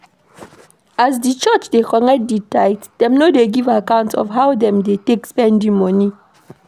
As di church dey collect di tithe, dem no dey give account of how dem take dey spend di money